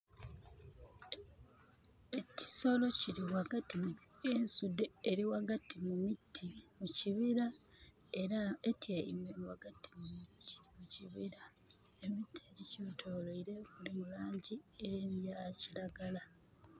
Ekisolo kili ghagati, ensudhe eli ghagati mu miti mu kibira. Era nga etyaime ghagati mu kibira. Emiti egyikyetoloire gyirimu laangi eya kiragala.